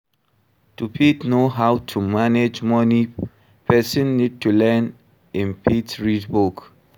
To fit know how to manage money person need to learn im fit read book